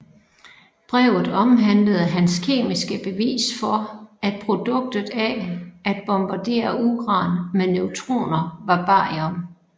Brevet omhandlede hans kemiske bevis for at produktet af at bombardere uran med neutroner var barium